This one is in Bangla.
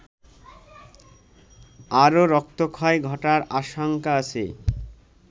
আরো রক্তক্ষয় ঘটার আশঙ্কা আছে